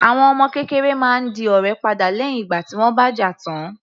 Àwọn ọmọ kékeré máa ń di ọ̀rẹ́ padà lẹ́hìn ìgbà tí wọ́n bá jà tán.